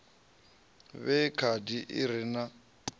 vhee khadi i re na